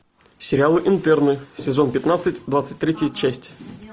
сериал интерны сезон пятнадцать двадцать третья часть